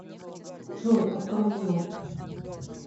джой отклонено